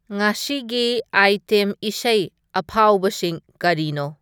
ꯉꯥꯥꯁꯤꯒꯤ item ꯏꯁꯩ ꯑꯐꯥꯎꯕꯁꯤꯡ ꯀꯔꯤꯅꯣ